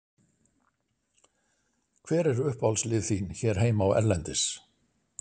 Hver eru uppáhaldslið þín hér heima og erlendis?